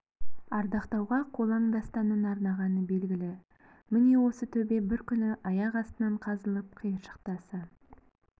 ардақтауға қолаң дастанын арнағаны белгілі міне осы төбе бір күні аяқ астынан қазылып қиыршық тасы